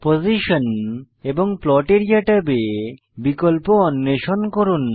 position এবং plot area ট্যাবে বিকল্প অন্বেষণ করুন